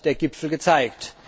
Das hat der Gipfel gezeigt.